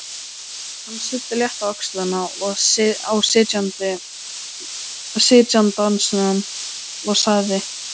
Hann studdi létt á öxlina á sitjandanum og sagði